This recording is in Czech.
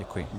Děkuji.